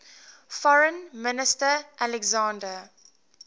foreign minister alexander